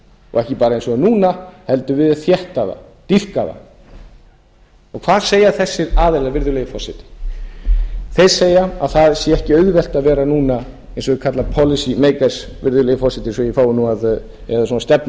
og ekki bara eins og núna heldur viljað þétta það dýpka það og hvað segja þessir aðilar virðulegi forseti þeir segja að það sé ekki auðvelt að vera núna eins og þeir kalla policy makers virðulegi forseti eða svona stefnumótendur